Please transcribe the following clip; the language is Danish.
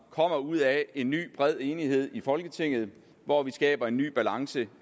kommer ud af en ny bred enighed i folketinget hvor vi skaber en ny balance